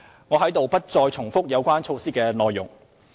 我在此不再重複有關措施的內容。